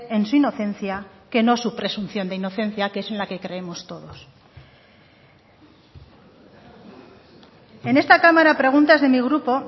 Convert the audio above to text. en su inocencia que no su presunción de inocencia que es en la que creemos todos en esta cámara a preguntas de mi grupo